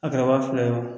A kɛra wa fila ye wo